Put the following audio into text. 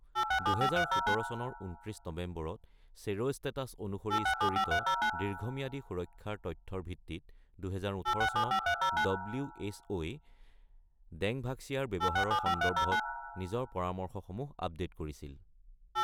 ২০১৭ চনৰ ২৯ নৱেম্বৰত চেৰ’ষ্টেটাছ অনুসৰি স্তৰিত দীৰ্ঘম্যাদী সুৰক্ষাৰ তথ্যৰ ভিত্তিত ২০১৮ চনত ডব্লিউ এইচ অ’ই ডেংভাক্সিয়াৰ ব্যৱহাৰৰ সন্দৰ্ভত নিজৰ পৰামৰ্শসমূহ আপডেট কৰিছিল।